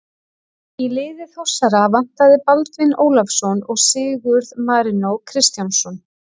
Í liði Þórsara vantaði Baldvin Ólafsson og Sigurð Marinó Kristjánsson.